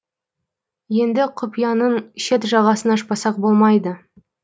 енді құпияның шет жағасын ашпасақ болмайды